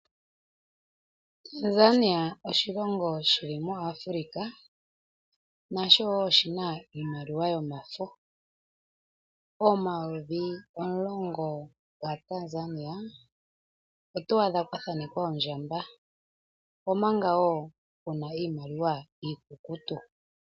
Tanzania oshilongo shili muAfrika, nasho wo oshina iimaliwa yomafo, omayovi omulongo gaTanzania oto adha kwathanekwa oondjamba, omanga wo kuna iimaliwa iikukutu.